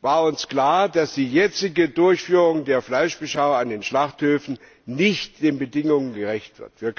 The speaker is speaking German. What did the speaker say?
war uns klar, dass die jetzige Durchführung der Fleischbeschau an den Schlachthöfen nicht den Bedingungen gerecht wird.